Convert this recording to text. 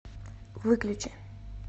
выключи